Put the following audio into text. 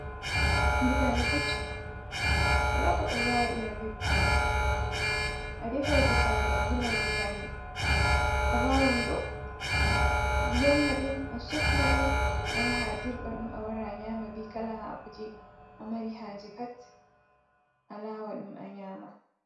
Butali keccon walako ɓe wala wadira be butali, a defa, butali a wulai butali, a wawan bo a yorna dum a sofna dum, a yaha dirɓa ɗum, a wara nyama, be kala hako je amari haje pat, a lawan ɗum a nyama.